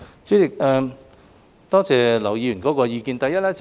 主席，多謝劉議員的意見。